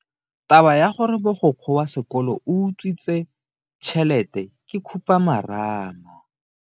Taba ya gore mogokgo wa sekolo o utswitse tšhelete ke khupamarama.